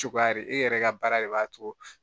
Cogoya de e yɛrɛ ka baara de b'a to